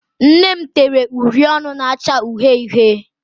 Nne m tere uri ọnụ na-acha uhie uhie.